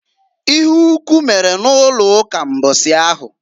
Ịhe ukwu mere n'ụlọụka mbọsị ahụ.